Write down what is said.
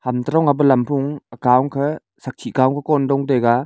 ham toh dong e pe lam kon dong taiga.